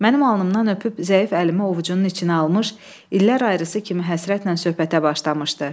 Mənim alnımdan öpüb zəif əlimi ovucunun içinə almış, illər ayrısı kimi həsrətlə söhbətə başlamışdı.